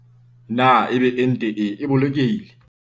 Na ebe ente e boloke hile?